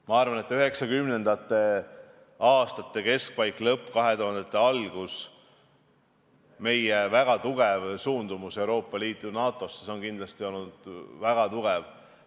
Ma arvan, et 1990. aastate keskpaik, lõpp ja 2000-ndate algus, kui meil oli suundumus pürgida Euroopa Liitu ja NATO-sse, on kindlasti olnud väga tugev.